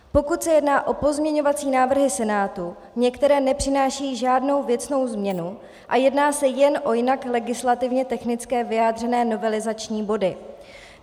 Pokud se jedná o pozměňovací návrhy Senátu, některé nepřinášejí žádnou věcnou změnu a jedná se jen o jinak legislativně technicky vyjádřené novelizační body.